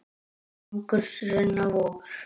Angurs renna vogar.